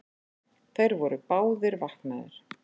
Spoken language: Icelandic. Þeir voru báðir vaknaðir.